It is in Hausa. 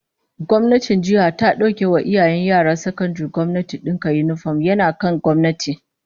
Gwamnatin jiha ta dauke wa iyayen yaran sakandaren gwamnati dinka yinifom, yana kan gwamnati